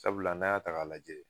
Sabula n'an y'a ta k'a lajɛ